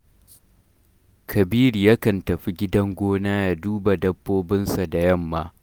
Kabiru yakan tafi gidan gona ya duba dabbobinsa da yamma